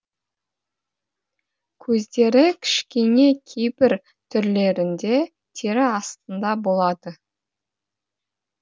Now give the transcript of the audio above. көздері кішкене кейбір түрлерінде тері астында болады